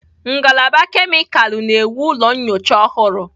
Ngalaba kemịkalụ na-ewu ụlọ nyocha ọhụrụ.